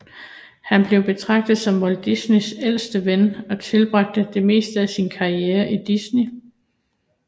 Han blev betragtet som Walt Disneys ældste ven og tilbragte det meste af sin karriere i Disney